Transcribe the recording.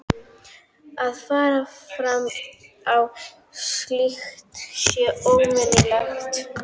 Að fara fram á slíkt sé ómanneskjulegt.